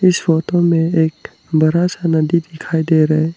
इस फोटो में एक बड़ा सा नदी दिखाई दे रहा है।